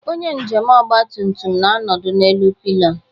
Onye njem ọgba tum tum na-anọdụ n'elu pillion